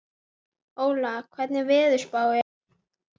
Óla, hvernig er veðurspáin?